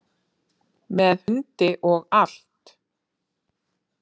Með hundi og allt.